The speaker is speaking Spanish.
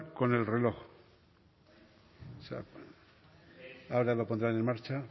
con el reloj o sea ahora lo pondrán en marcha